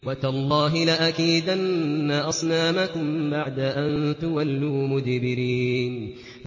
وَتَاللَّهِ لَأَكِيدَنَّ أَصْنَامَكُم بَعْدَ أَن تُوَلُّوا مُدْبِرِينَ